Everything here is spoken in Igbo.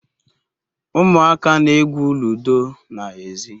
Umuaka na-egwu ludo na ezi